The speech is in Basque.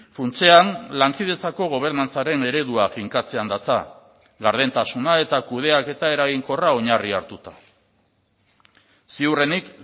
funtsean lankidetzako gobernantzaren eredua finkatzean datza gardentasuna eta kudeaketa eraginkorra oinarri hartuta ziurrenik